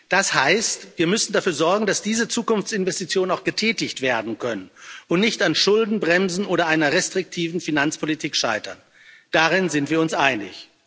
Das heißt, wir müssen dafür sorgen, dass diese Zukunftsinvestitionen auch getätigt werden können und nicht an Schuldenbremsen oder einer restriktiven Finanzpolitik scheitern darin sind wir uns einig.